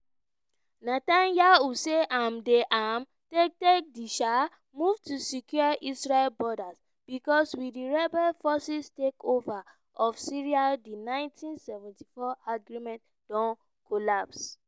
netanyahu say im dey um take take di um move to secure israel borders becos with di rebel forces takeover of syria di 1974 agreement don "collapse".